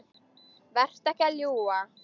Vertu ekki að ljúga!